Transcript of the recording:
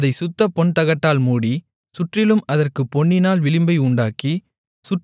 அதைச் சுத்தப் பொன்தகட்டால் மூடி சுற்றிலும் அதற்குப் பொன்னினால் விளிம்பை உண்டாக்கி